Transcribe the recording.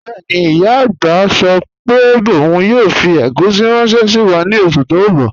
Bẹẹni, iya agbá sọ pe ọun yoo fi egusi ranṣẹ si wa ni oṣu ti n bọ